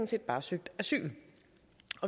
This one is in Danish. set bare søgt asyl